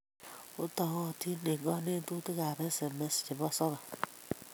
Otokotin eng kanetutik ab SMS chebo soghurm